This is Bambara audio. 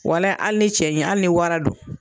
Walahi hali ni cɛ ɲin hali ni wara don